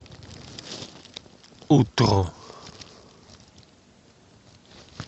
утро